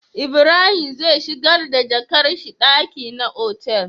Ibrahim zai shigar da jakar shi daki na otal